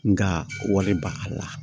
Nga wari ba a la